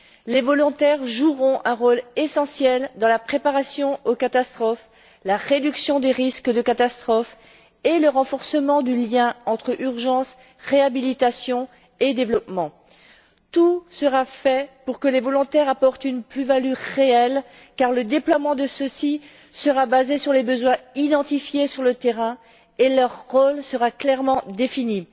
Les volontaires joueront un rôle essentiel dans la préparation aux catastrophes, la réduction des risques de catastrophes et le renforcement du lien entre urgence, réhabilitation et développement. Tout sera fait pour que les volontaires apportent une plus value réelle car le déploiement de ceux ci sera basé sur les besoins identifiés sur le terrain, et leur rôle sera clairement défini.